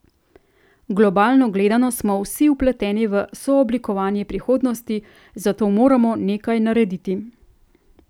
Globalno gledano smo vsi vpleteni v sooblikovanje prihodnosti, zato moramo nekaj narediti.